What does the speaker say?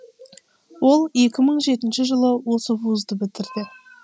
ол екі мың жетінші жылы осы вузды бітірді